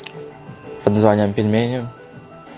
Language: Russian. обзваниваем пельменю